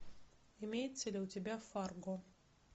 имеется ли у тебя фарго